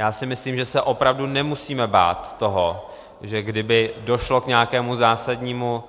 Já si myslím, že se opravdu nemusíme bát toho, že kdyby došlo k nějakému zásadnímu